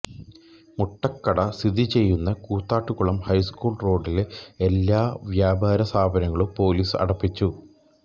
മുട്ടക്കട സ്ഥിതിചെയ്യുന്ന കൂത്താട്ടുകുളം ഹൈസ്കൂൾ റോഡിലെ എല്ലാ വ്യാപാര സ്ഥാപനങ്ങളും പോലീസ് അടപ്പിച്ചു